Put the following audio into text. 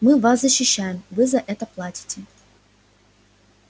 мы вас защищаем вы за это платите